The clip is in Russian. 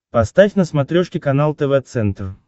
поставь на смотрешке канал тв центр